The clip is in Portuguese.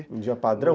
Um dia padrão?